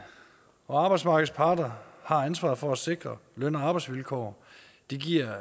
og arbejdsmarkedets parter har ansvaret for at sikre løn og arbejdsvilkår det giver